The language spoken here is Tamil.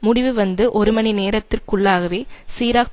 முடிவு வந்து ஒரு மணி நேரத்திற்குள்ளாகவே சிராக்